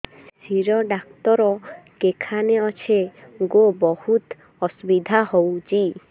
ଶିର doctor କେଖାନେ ଅଛେ ଗୋ ବହୁତ୍ ଅସୁବିଧା ହଉଚି